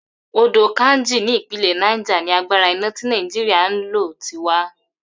Odò Kainji ní ìpínlè̩ Niger ni agbára iná tí Nàìjíríà ń lò ti wá.